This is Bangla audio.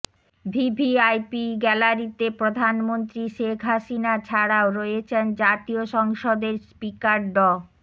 ভিভিআইপি গ্যালারিতে প্রধানমন্ত্রী শেখ হাসিনা ছাড়াও রয়েছেন জাতীয় সংসদের স্পিকার ড